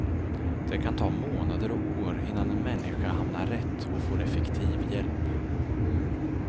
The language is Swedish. Det kan ta månader och år innan en människa hamnar rätt och får effektiv hjälp.